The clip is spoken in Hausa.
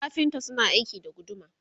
kafinta suna aiki da guduma